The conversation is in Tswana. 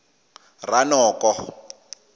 ranoko